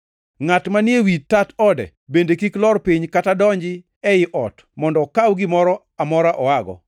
Ngʼat manie wi tat ode bende kik lor piny kata donji ei ot mondo okaw gimoro amora oago.